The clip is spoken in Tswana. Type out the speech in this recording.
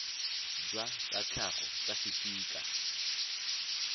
jwa tsa tlhago tsa fisika